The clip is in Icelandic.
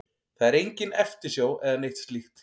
Það er engin eftirsjá eða neitt slíkt.